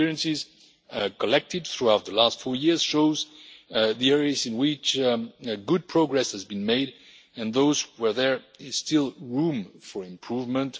The experiences collected throughout the last four years show the areas in which good progress has been made and those where there is still room for improvement.